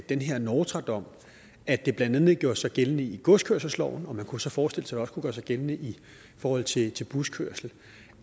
den her nortra dom at det blandt andet gjorde sig gældende i godskørselsloven og man kunne så forestille sig også kunne gøre sig gældende i forhold til til buskørsel